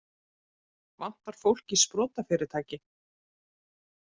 Vantar fólk í sprotafyrirtæki